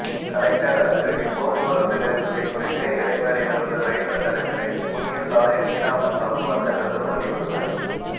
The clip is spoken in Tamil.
கலெக்டர் அதிரடி போக்குவரத்து நெரிசலை குறைக்க எடை மேடையிலிருந்து ரயில்வே நடைமேடைக்கு புதிய சாலை நீடாமங்கலம் வர்த்தகர்கள் வலியுறுத்தல்